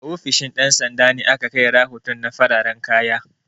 A ofishin ɗan sanda ne ake kai rahoton na fararan kaya